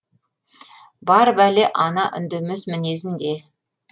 бар бәле ана үндемес мінезінде